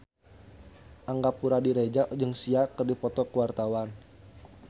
Angga Puradiredja jeung Sia keur dipoto ku wartawan